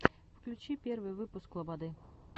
включи первый выпуск лободы